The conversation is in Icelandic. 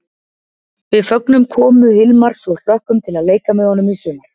Við fögnum komu Hilmars og hlökkum til að leika með honum í sumar!